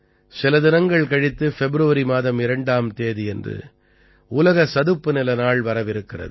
சில தினங்கள் கழித்து ஃபெப்ருவரி மாதம் 2ஆம் தேதியன்று உலக சதுப்புநில நாள் வரவிருக்கிறது